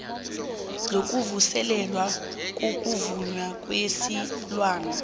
sokuvuselelwa kokuvunywa kwesilwana